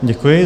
Děkuji.